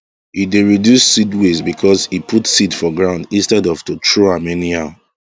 e dey reduce seed waste because e put seed for ground instead of to throw am anyhow